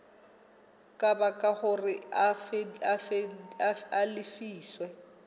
ka baka hore a lefiswe